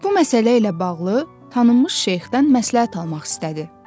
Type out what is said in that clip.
Bu məsələ ilə bağlı tanınmış şeyxdən məsləhət almaq istədi.